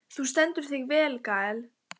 Þú stendur þig vel, Gael!